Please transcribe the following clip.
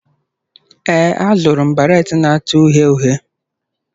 Ee, azụrụ m baret na-acha uhie uhie.